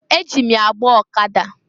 Eji m ya gbaa ọkada.